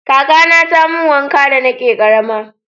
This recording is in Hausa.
kakana ta mun wanka da na ke karama